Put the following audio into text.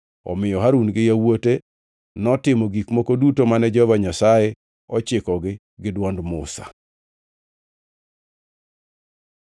Omiyo Harun gi yawuote notimo gik moko duto mane Jehova Nyasaye ochikogi gi dwond Musa.